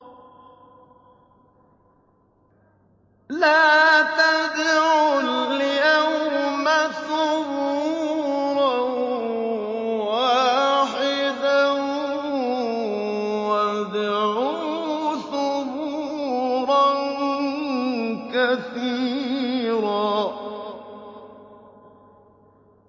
لَّا تَدْعُوا الْيَوْمَ ثُبُورًا وَاحِدًا وَادْعُوا ثُبُورًا كَثِيرًا